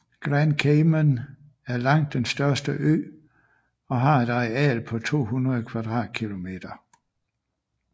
Grand Cayman er langt den største ø og har et areal på 200 kvadratkilometer